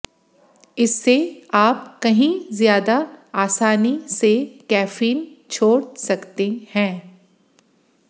इससे आप कहीं ज्यादा आसानी से कैफीन छोड़ सकते हैं